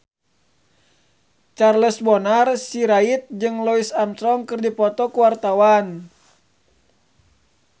Charles Bonar Sirait jeung Louis Armstrong keur dipoto ku wartawan